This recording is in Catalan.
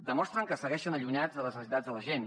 demostren que segueixen allunyats de les necessitats de la gent